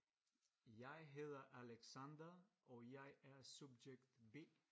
Jeg hedder Alexander og jeg er subjekt B